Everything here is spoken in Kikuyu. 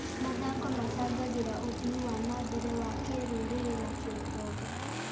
Mathako macangagĩra ũthii wa na mbere wa kĩrũrĩrĩ na kĩũtonga.